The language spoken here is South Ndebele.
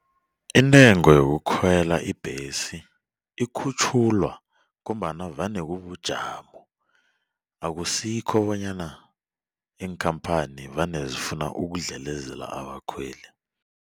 Intengo yokukhwela ibhesi ikhutjhulwa ngombana vane kubujamo akusikho bonyana iinkhamphani vane zifuna ukudlelezela abakhweli.